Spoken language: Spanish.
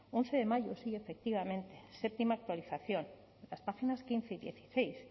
once de mayo sí efectivamente séptima actualización las páginas quince y dieciséis